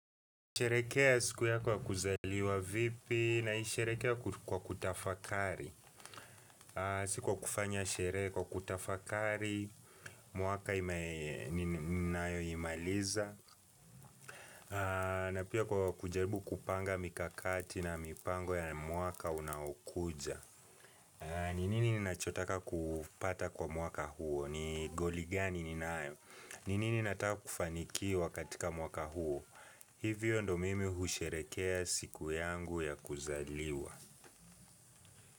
Unasherekea siku ya kuzaliwa vipi? NaIsherekea kwa kutafakari Si kwa kufanya sherehe, kwa kutafakari mwaka ninayoimaliza na pia kwa kujaribu kupanga mikakati na mipango ya mwaka unaokuja ni nini ninacho taka kupata kwa mwaka huo? Ni goli gani ninayo? Ni nini nataka kufaniki wakatika mwaka huo? Hivyo ndo mimi husherekea siku yangu ya kuzaliwa.